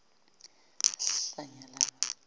wezabasebenzi